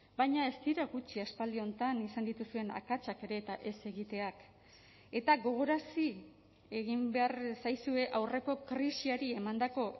baina ez dira gutxi aspaldi honetan izan dituzuen akatsak ere eta ez egiteak eta gogorarazi egin behar zaizue aurreko krisiari emandako